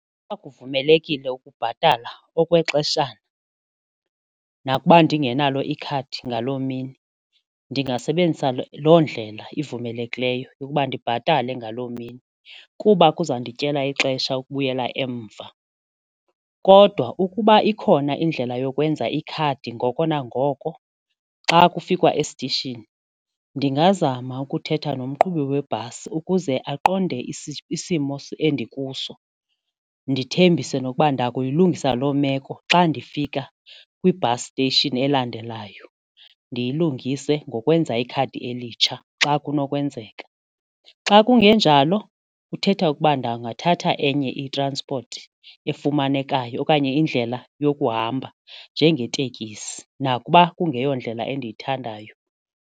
Uba kuvumelekile ukubhatala okwexeshana nakuba ndingenalo ikhadi ngaloo mini ndingasebenzisa loo ndlela ivumelekileyo yokuba ndibhatale ngaloo mini kuba kuzandityela ixesha ukubuyela emva. Kodwa ukuba ikhona indlela yokwenza ikhadi ngoko nangoko xa kufikwa esitishini, ndingazama ukuthetha nomqhubi webhasi ukuze aqonde isimo endikuso ndithembise nokuba ndakuyilungisa loo meko xa ndifika kwi-bus station elandelayo ndiyilungise ngokwenza ikhadi elitsha xa kunokwenzeka. Xa kungenjalo kuthetha ukuba ndingathatha enye itranspoti efumanekayo okanye indlela yokuhamba njengetekisi nakuba kungekhoyo ndlela endiyithandayo.